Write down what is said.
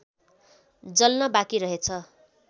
जल्न बाँकी रहेछ